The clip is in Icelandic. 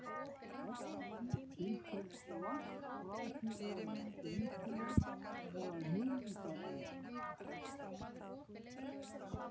Eddu finnst hún langt frá því að vera skemmtileg eða hugmyndarík.